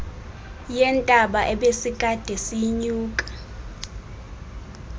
yentaba ebesikade siyinyuka